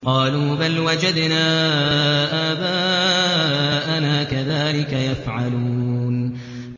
قَالُوا بَلْ وَجَدْنَا آبَاءَنَا كَذَٰلِكَ يَفْعَلُونَ